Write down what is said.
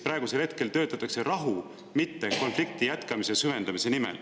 Praegusel hetkel töötatakse rahu, mitte konflikti jätkamise süvendamise nimel.